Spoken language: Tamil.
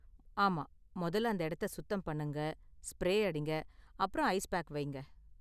ஆமா, மொதல்ல அந்த இடத்த சுத்தம் பண்ணுங்க, ஸ்ப்ரே அடிங்க, அப்புறம் ஐஸ் பேக் வையுங்க.